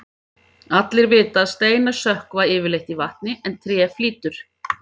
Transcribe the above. Allir vita að steinar sökkva yfirleitt í vatni en tré flýtur.